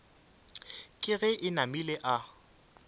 ke ge e namile a